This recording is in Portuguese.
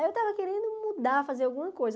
Aí eu estava querendo mudar, fazer alguma coisa.